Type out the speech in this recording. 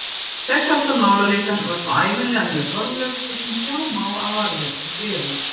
Þess háttar málaleitan var þá ævinlega mjög formleg, svo sem sjá má af varðveittum bréfum.